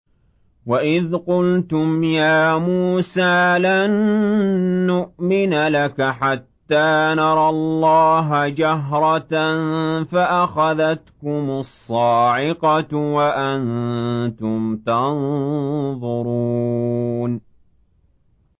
وَإِذْ قُلْتُمْ يَا مُوسَىٰ لَن نُّؤْمِنَ لَكَ حَتَّىٰ نَرَى اللَّهَ جَهْرَةً فَأَخَذَتْكُمُ الصَّاعِقَةُ وَأَنتُمْ تَنظُرُونَ